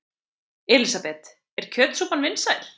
Elísabet: Er kjötsúpan vinsæl?